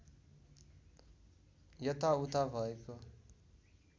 यता उता भएको